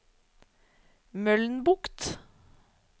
Mølnbukt